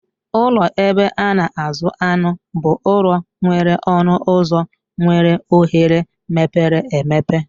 Ụlọ ebe a na-azụ anụ bụ ụlọ nwere ọnụ ụlọ nwere oghere mepere emepe.